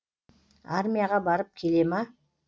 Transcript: армияға барып келе ма